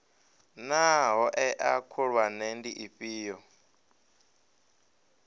naa hoea khulwane ndi dzifhio